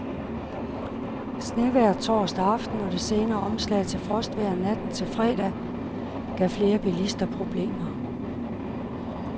Snevejret torsdag aften og det senere omslag til frostvejr natten til fredag gav flere bilister problemer.